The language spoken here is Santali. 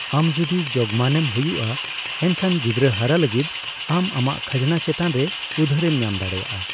ᱟᱢ ᱡᱩᱫᱤ ᱡᱳᱜᱢᱟᱱᱮᱢ ᱦᱩᱭᱩᱜᱼᱟ, ᱮᱱᱠᱷᱟᱱ ᱜᱤᱫᱽᱨᱟᱹ ᱦᱟᱨᱟ ᱞᱟᱹᱜᱤᱫ ᱟᱢ ᱟᱢᱟᱜ ᱠᱷᱟᱡᱱᱟ ᱪᱮᱛᱟᱱᱨᱮ ᱩᱫᱷᱟᱹᱨᱮᱢ ᱧᱟᱢ ᱫᱟᱲᱮᱭᱟᱜᱼᱟ ᱾